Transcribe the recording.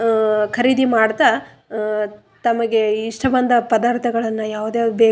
ವ್ಯಾಪಾರಸ್ಥರು ಅವರಿಗೆ ಅಹ್ ಗೂಡ್ಸಗಳನ್ನ‌ ಕೊಡ್ತಾ ಇದ್ದಾರೆ.